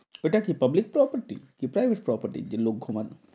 এটা কি public property কি privet property যে লোক ঘুমাবে,